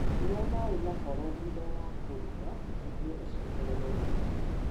Nyua maĩ mahoro thutha wa kũrũga nĩguo ũcokererũo nĩ hinya.